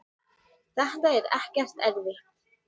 þetta er ekkert erfitt.